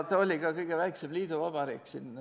Ta oli ka kõige väiksem liiduvabariik.